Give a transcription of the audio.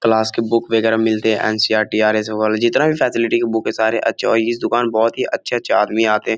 Claus के book बगैरा मिलते हैं एन.सी.ई.आर.टी. आर.एस. अग्रवाल जितना भी फैसिलिटी की बुक है सारे अच्छे और इस दुकान बहुत ही अच्छे-अच्छे आदमी आते हैं।